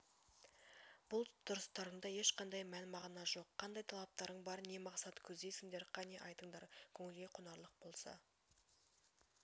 бұл тұрыстарыңда ешқандай мән-мағына жоқ қандай талаптарың бар не мақсат көздейсіңдер қане айтыңдар көңілге қонарлық болса